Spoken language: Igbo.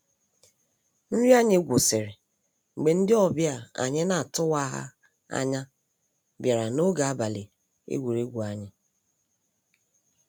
Nrị anyị gwụsịrị mgbe ndị ọbia anyị na-atụwaha anya bịara ń ọge abalị egwuregwu anyị.